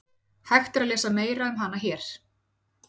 Hægt er að lesa meira um hana hér.